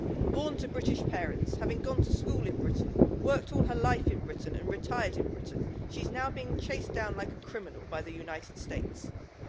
Born to British parents, and having gone to school in Britain, worked all her life in Britain and retired in Britain, she's now being chased down like a criminal by the USA.